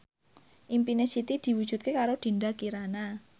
impine Siti diwujudke karo Dinda Kirana